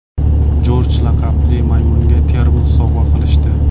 Jorj laqabli maymunga termos sovg‘a qilishdi.